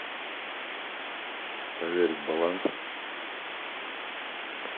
проверить баланс